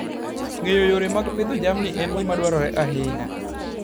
Ng'eyo yore mag pidho jamni en gima dwarore ahinya.